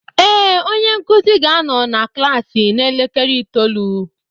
Ee, onye nkuzi ga-anọ na klaasị n'elekere itoolu